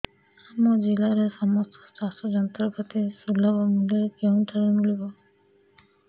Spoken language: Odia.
ଆମ ଜିଲ୍ଲାରେ ସମସ୍ତ ଚାଷ ଯନ୍ତ୍ରପାତି ସୁଲଭ ମୁଲ୍ଯରେ କେଉଁଠାରୁ ମିଳିବ